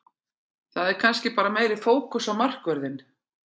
Það er kannski bara meiri fókus á markvörðinn.